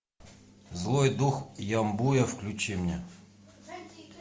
злой дух ямбуя включи мне